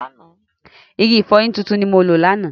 Igi ìfọyín tuntun ni mo lò lánàá.